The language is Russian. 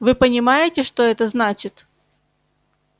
вы понимаете что это значит